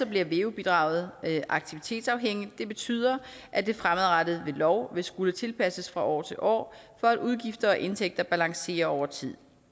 bliver veu bidraget aktivitetsafhængigt det betyder at det fremadrettet ved lov vil skulle tilpasses fra år til år for at udgifter og indtægter balancerer over tid